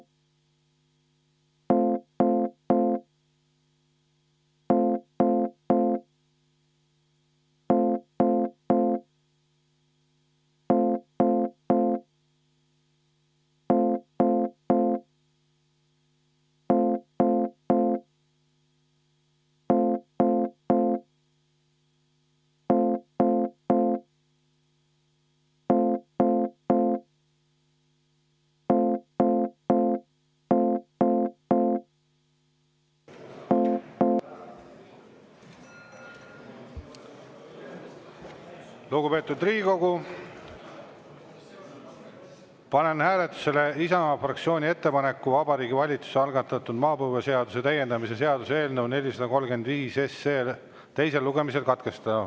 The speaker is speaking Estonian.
Lugupeetud Riigikogu, panen hääletusele Isamaa fraktsiooni ettepaneku Vabariigi Valitsuse algatatud maapõueseaduse täiendamise seaduse eelnõu 435 teine lugemine katkestada.